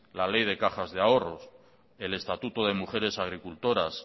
la ley de cajas de ahorras el estatuto de mujeres agricultoras